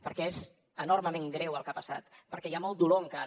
perquè és enormement greu el que ha passat perquè hi ha molt dolor encara